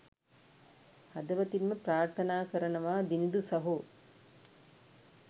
හදවතින්ම ප්‍රාර්ථනා කරනවා දිනිඳු සහෝ